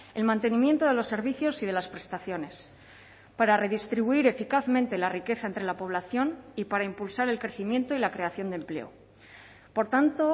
el mantenimiento de los servicios y de las prestaciones para redistribuir eficazmente la riqueza entre la población y para impulsar el crecimiento y la creación de empleo por tanto